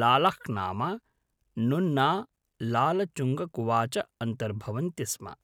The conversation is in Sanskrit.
लालह्नाम, नुन्ना लालचुङ्गकुवा च अन्तर्भवन्ति स्म।